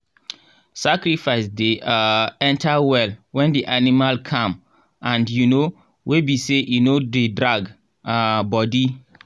sacrifice dey um enter well when the animal calm and um wey be sey e no dey drag um body.